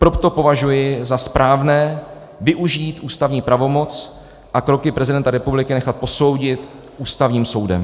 Proto považuji za správné využít ústavní pravomoc a kroky prezidenta republiky nechat posoudit Ústavním soudem.